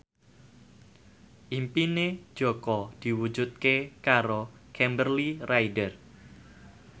impine Jaka diwujudke karo Kimberly Ryder